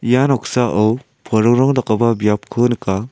ia noksao porongrong dakgipa biapko nika.